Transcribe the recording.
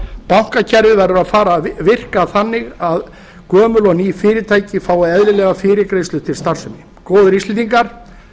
bankakerfið verður að fara að virka þannig að gömul og ný fyrirtæki fái eðlilega fyrirgreiðslu til starfsemi góðir íslendingar